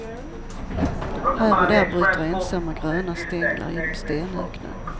Här och där bryter ensamma gröna stänglar genom stenöknen.